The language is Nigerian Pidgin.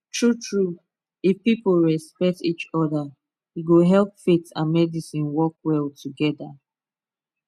truetrue if people respect each other e go help faith and medicine work well together